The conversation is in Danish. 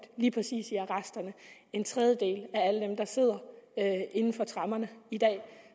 lige præcis i arresterne en tredjedel af alle dem der sidder inden for tremmerne i dag